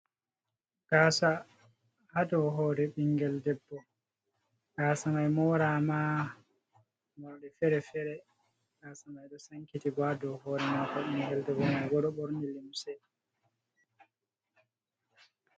Gasa ha dou hore ɓingel debbo gasa mai mora ma morɗi fere-fere gasa mai ɗo sankiti bo ha dou hore mako. Ɓingel debbo man bo ɗo ɓorni limse